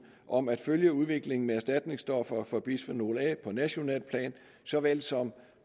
om at følge udviklingen med erstatningsstoffer for bisfenol a på nationalt plan såvel som